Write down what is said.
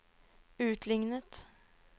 utlignet